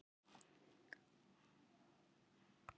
Þegar skipt er um hnélið þá eru settar nýjar fóðringar.